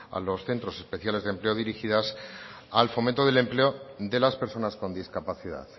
a los centros especiales de empleo dirigidas al fomento del empleo de las personas con discapacidad